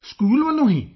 school ਵੱਲੋਂ ਹੀ